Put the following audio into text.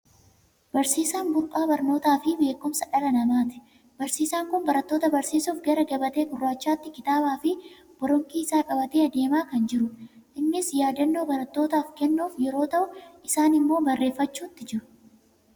Barsiisaan burqaa barnootaa fi beekumsa dhala namaati. Barsiisaan kun barattoota barsiisuuf gara gabatee gurraachaatti kitaabaa fi boronqii isaa qabatee adeemaa kan jirudha. Innis yaadannoo barattootaaf kennuuf yeroo ta'u, isaan immoo barreeffachuutti jiru.